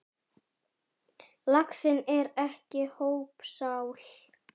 Laxinn er ekki hópsál.